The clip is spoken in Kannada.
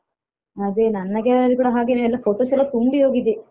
ಅದೇ ನನ್ನ gallery ಕೂಡ ಹಾಗೇನೆ ಎಲ್ಲಾ photos ಎಲ್ಲ ತುಂಬಿಹೋಗಿದೆ.